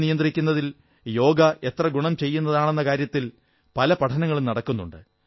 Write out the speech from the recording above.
പ്രമേഹം നിയന്ത്രിക്കുന്നതിൽ യോഗ എത്ര ഗുണം ചെയ്യുന്നതാണെന്ന കാര്യത്തിൽ പല പഠനങ്ങളും നടക്കുന്നുണ്ട്